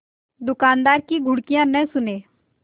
दुकानदार की घुड़कियाँ न सुने